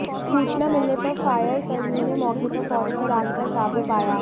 सूचना मिलने पर फायर कर्मियों ने मौके पर पहुंचकर आग पर काबू पाया